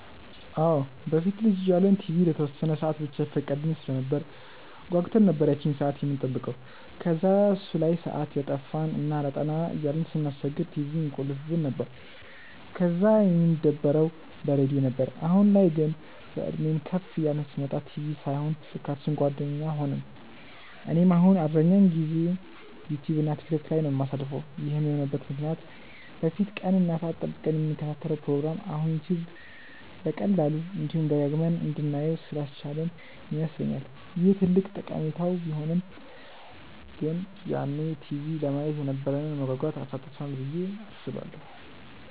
አዎ። በፊት ልጅ እያለን ቲቪ ለተወሰነ ሰአት ብቻ ይፈቀድልን ስለነበር ጓጉተን ነበር ያቺን ሰአት የምንጠብቀው። ከዛ እሱ ላይ ሰአት እያጠፋን እና አላጠና እያልን ስናስቸግር ቲቪውን ይቆልፉብን ነበር፤ ከዛ የምንደበረው በሬድዮ ነበር። አሁን ላይ ግን፤ በእድሜም ከፍ እያልን ስንመጣ ቲቪ ሳይሆን ስልካችን ጓደኛ ሆነን። እኔም አሁን አብዛኛውን ጊዜዬን ዩትዩብ እና ቲክቶክ ላይ ነው የማሳልፈው። ይህም የሆነበት ምክንያት በፊት ቀን እና ሰአት ጠብቀን የምንከታተለውን ፕሮግራም አሁን ዩትዩብ በቀላሉ፤ እንዲሁም ደጋግመን እንድናየው ስላስቻለን ይመስለኛል። ይህ ትልቅ ጠቀሜታው ቢሆንም ግን ያኔ ቲቪ ለማየት የነበረንን መጓጓት አሳጥቶናል ብዬ አስባለሁ።